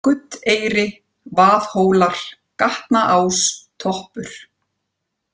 Guddeyri, Vaðhólar, Gatnaás, Toppur